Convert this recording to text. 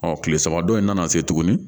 Ɔ kile saba dɔ in nana se tuguni